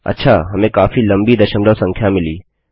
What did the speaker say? अच्छा हमें काफी लम्बी दशमलव संख्या मिली